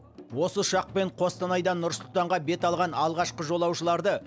осы ұшақпен қостанайдан нұр сұлтанға бет алған алғашқы жолаушыларды